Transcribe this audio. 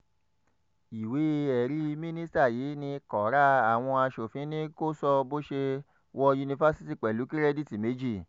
ìwé-ẹ̀rí mínísítà yìí ní kọ́ra àwọn asòfin ni kò sọ bó ṣe wọ yunifásitì pẹ̀lú kìrẹ́dìítì méjì